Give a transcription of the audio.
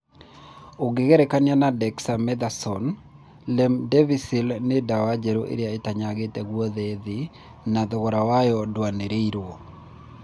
Ũkĩgerekania na dexamethasone, remdesivir nĩ dawa njerũ ĩrĩa ĩtanyagĩte gũothe thĩ na thogora wayo ndwanĩrĩirwo